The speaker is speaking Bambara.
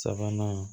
Sabanan